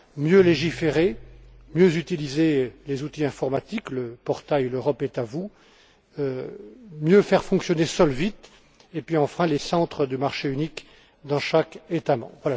Mieux légiférer, mieux utiliser les outils informatiques, le portail l'Europe est à vous, mieux faire fonctionner SOLVIT et puis, enfin, encourager les centres de marché unique dans chaque État membre.